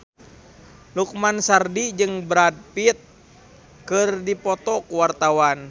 Lukman Sardi jeung Brad Pitt keur dipoto ku wartawan